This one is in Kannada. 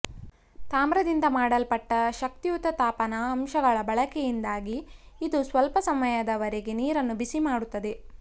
ತಾಮ್ರದಿಂದ ಮಾಡಲ್ಪಟ್ಟ ಶಕ್ತಿಯುತ ತಾಪನ ಅಂಶಗಳ ಬಳಕೆಯಿಂದಾಗಿ ಇದು ಸ್ವಲ್ಪ ಸಮಯದವರೆಗೆ ನೀರನ್ನು ಬಿಸಿ ಮಾಡುತ್ತದೆ